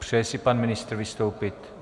Přeje si pan ministr vystoupit?